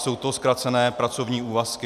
Jsou to zkrácené pracovní úvazky.